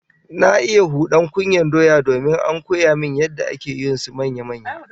Na iya hudan kunyar doya domin an koya min yadda ake yin su manya-manya